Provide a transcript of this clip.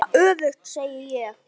Eða öfugt, segi ég.